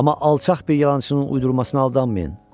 Amma alçaq bir yalançının uydurmasına aldanmayın.